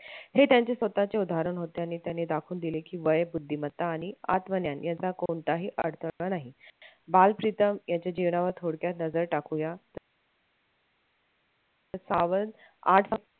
हे त्यांचे स्वतःचे उदाहरण होते आणि त्यांनी दाखवून दिले की वय बुद्धिमत्ता आणि आत्मज्ञान यांचा कोणताही अडथळा नाही बालप्रितम यांच्या जीवनावर थोडक्यात नजर टाकूया